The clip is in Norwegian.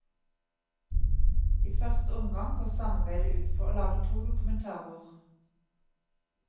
I første omgang går samarbeidet ut på å lage to dokumentarer.